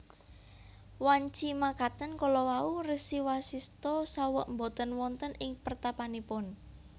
Wanci makaten kalawau Resi Wasistha saweg boten wonten ing pertapanipun